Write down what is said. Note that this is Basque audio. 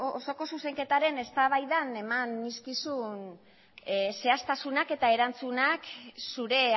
osoko zuzenketaren eztabaidan eman nizkizun zehaztasunak eta erantzunak zure